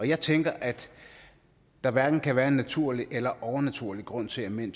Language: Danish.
jeg tænker at der hverken kan være en naturlig eller overnaturlig grund til at mænd